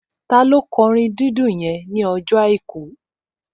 Taló kọ orin dídùn yẹn ní ọjọ́ àìkú?